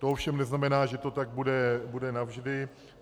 To ovšem neznamená, že to tak bude navždy.